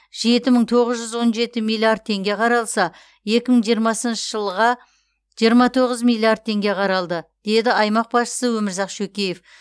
жеті мың тоғыз жүз он жеті миллиард теңге қаралса екі мың жиырмасыншы жылға жиырма тоғыз миллиард теңге қаралды деді аймақ басшысы өмірзақ шөкеев